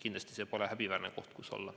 Kindlasti pole see häbiväärne koht, kus olla.